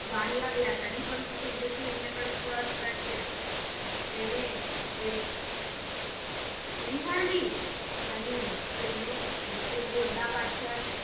बाण लागला तरी पण त्यांच्याच सैन्याकडे पळत पळत गेला त्याने एक उडी मारली आणि त्याने तो गोंधाबादच्या